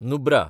Nubra